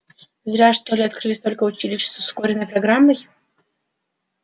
зря что ли открыли столько училищ с ускоренной программой